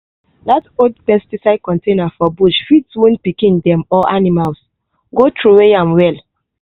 dat old pesticide contaner for bush fit wound pikin dem or animals-go throwaway am well